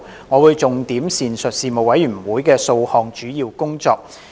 我會重點闡述事務委員會的數項主要工作。